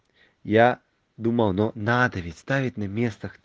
я думал но надо ведь ставить на место